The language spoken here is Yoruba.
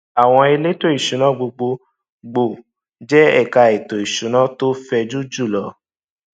àwọn elétò ìsúná gbogbo gbòò je ẹka ètò ìsúná tó fẹjù jùlọ